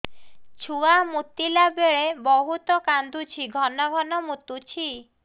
ଛୁଆ ମୁତିଲା ବେଳେ ବହୁତ କାନ୍ଦୁଛି ଘନ ଘନ ମୁତୁଛି